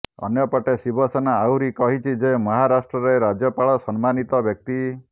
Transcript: ଅନ୍ୟପଟେ ଶିବସେନା ଆହୁରି କହିଛି ଯେ ମହାରାଷ୍ଟ୍ରରେ ରାଜ୍ୟପାଳ ସମ୍ମାନୀତ ବ୍ୟକ୍ତି